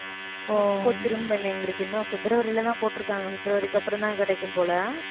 இப்ப திரும்ப எங்களுக்கு இன்னும் பிப்ரவரில தான் போட்டிருக்காங்க பிப்ரவரிக்கு அப்புறம்தான் கிடைக்கும் போல